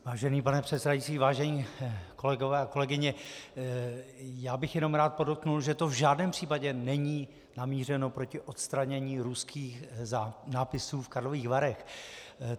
Vážený pane předsedající, vážení kolegové a kolegyně, já bych jenom rád podotkl, že to v žádném případě není namířeno proti odstranění ruských nápisů v Karlových Varech.